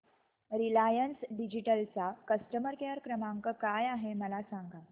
Reliance digital चा customer care क्रमांक काय आहे मला सांगा